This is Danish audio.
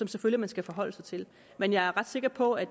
selvfølgelig skal forholde sig til men jeg er ret sikker på at